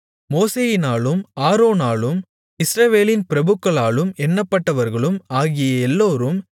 மோசேயினாலும் ஆரோனாலும் இஸ்ரவேலின் பிரபுக்களாலும் எண்ணப்பட்டவர்களும் ஆகிய எல்லோரும்